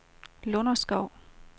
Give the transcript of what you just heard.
Lunderskov